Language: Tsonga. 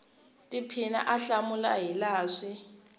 tiphina a hlamula hilaha swi